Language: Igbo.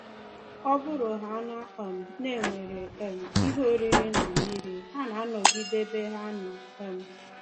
Ọ bụrụhaana um na e nwere um ihe oriri na mmiri, ha na-anọgide ebe ha nọ. um